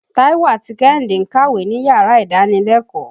Táíwò àti Kẹ́hìndé ń kàwé níyàrá ìdánilẹ́kòọ́.